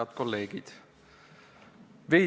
Head kolleegid!